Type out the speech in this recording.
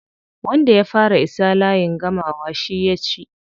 Wanda ya fara isa layin gamawa shi ya ci.